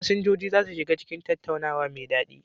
Fasinjoji za su shiga cikin tattaunawa mai daɗi.